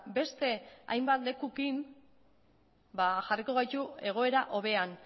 beste hainbat lekuekin jarriko gaitu egoera hobean